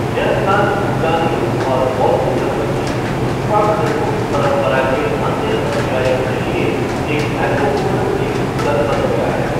यह स्थान भूटानियों और बौद्ध धर्म की द्रुक्पा खरगू परंपरा के अन्य अनुयायियों के लिए एक महत्वपूर्ण तीर्थस्थल बन गया है।